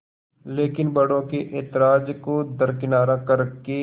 लेकिन बड़ों के ऐतराज़ को दरकिनार कर के